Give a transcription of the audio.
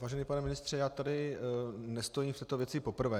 Vážený pane ministře, já tady nestojím před tou věcí poprvé.